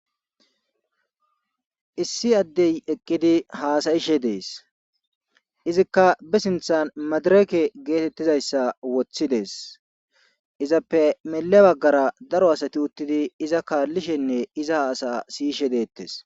Issi addey eqqidi haasayishe dees izikka be sinthan madireke geetettizayssa wothidees izappe mela baggara daro asati uttidi iza kaallishenne iza haasa siyishe deettes.